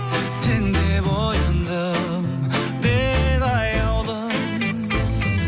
сен деп ояндым мен аяулым